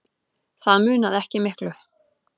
Það munaði ekki miklu.